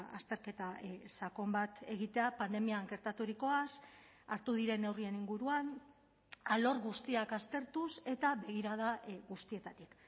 azterketa sakon bat egitea pandemian gertaturikoaz hartu diren neurrien inguruan alor guztiak aztertuz eta begirada guztietatik